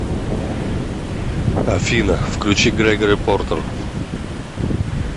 афина включи грегори портер